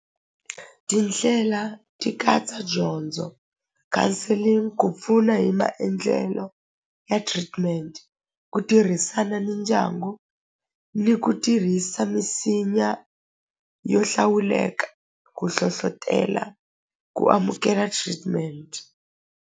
Tindlela ti katsa dyondzo, counselling ku pfuna hi maendlelo ya treatment ku tirhisana ni ndyangu ni ku tirhisa misinya yo hlawuleka ku hlohlotela ku amukela treatment.